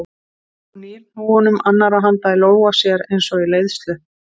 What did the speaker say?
Hún nýr hnúum annarrar handar í lófa sér eins og í leiðslu.